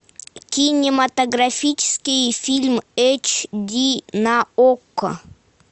кинематографический фильм эйч ди на окко